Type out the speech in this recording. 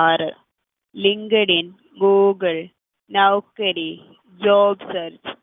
ആറ് LinkedIn Google Naukri job search